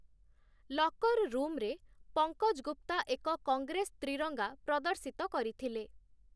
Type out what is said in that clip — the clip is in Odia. ଲକର୍ ରୁମ୍‌ରେ ପଙ୍କଜ ଗୁପ୍ତା ଏକ କଂଗ୍ରେସ ତ୍ରିରଙ୍ଗା ପ୍ରଦର୍ଶିତ କରିଥିଲେ ।